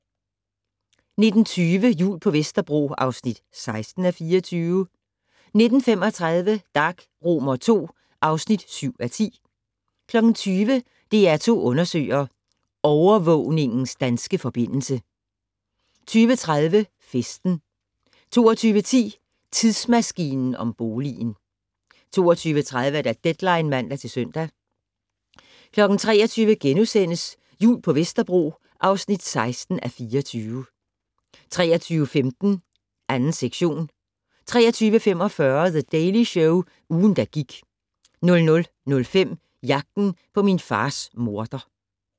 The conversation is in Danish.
19:20: Jul på Vesterbro (16:24) 19:35: Dag II (7:10) 20:00: DR2 undersøger: Overvågningens danske forbindelse 20:30: Festen 22:10: Tidsmaskinen om boligen 22:30: Deadline (man-søn) 23:00: Jul på Vesterbro (16:24)* 23:15: 2. sektion 23:45: The Daily Show - ugen, der gik 00:05: Jagten på min fars morder